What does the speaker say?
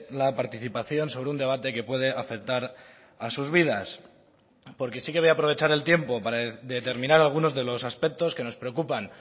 la participación sobre un debate que puede afectar a sus vidas porque sí que voy a aprovechar el tiempo para determinar algunos de los aspectos que nos preocupan